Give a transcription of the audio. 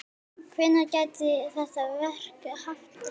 Hvenær gæti þetta verk hafist?